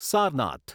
Sarnath